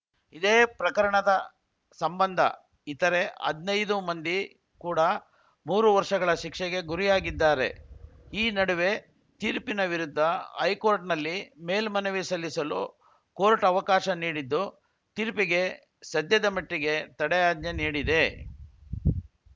ಇದೇ ಪ್ರಕರಣದ ಸಂಬಂಧ ಇತರೆ ಹದಿನೈದು ಮಂದಿ ಕೂಡಾ ಮೂರು ವರ್ಷಗಳ ಶಿಕ್ಷೆಗೆ ಗುರಿಯಾಗಿದ್ದಾರೆ ಈ ನಡುವೆ ತೀರ್ಪಿನ ವಿರುದ್ಧ ಹೈಕೋರ್ಟ್‌ನಲ್ಲಿ ಮೇಲ್ಮನವಿ ಸಲ್ಲಿಸಲು ಕೋರ್ಟ್‌ ಅವಕಾಶ ನೀಡಿದ್ದು ತೀರ್ಪಿಗೆ ಸದ್ಯದ ಮಟ್ಟಿಗೆ ತಡೆಯಾಜ್ಞೆ ನೀಡಿದೆ